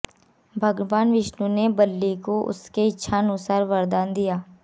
भगवान विष्णु ने बलि को उसकी इच्छानुसार वरदान दिया